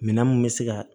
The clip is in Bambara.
Minɛn mun bɛ se ka